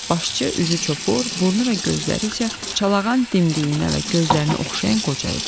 Başçı üzü çopur, burnu və gözləri isə çalağan dimdiyinə və gözlərinə oxşayan qoca idi.